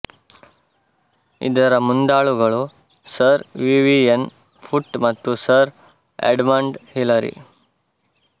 ಇದರ ಮುಂದಾಳುಗಳು sir Vivian ಫುಟ್ ಮತ್ತು ಸರ್ ಎಡ್ಮಂಡ್ ಹಿಲರಿ